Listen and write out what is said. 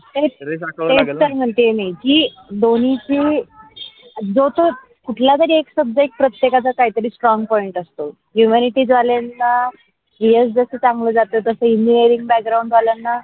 तेच तर म्हणते मी कि दोन्ही ची जो तो कुठलातरी एक शब्द प्रत्येकाच्या काहीतरी strong point असतो humanity झाल्यानं years जस चांगल जात तस engineering background वाल्यांना.